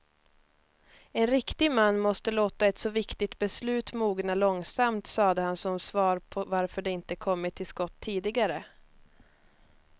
En riktig man måste låta ett så viktigt beslut mogna långsamt, sade han som svar på varför de inte kommit till skott tidigare.